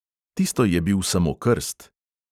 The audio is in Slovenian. Tisto je bil samo krst.